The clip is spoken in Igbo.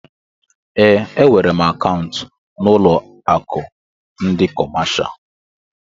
Eé, e nwèrè m akaụntu n'ụlọ akụ ndị kọmáshá